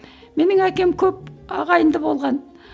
менің әкем көп ағайынды болған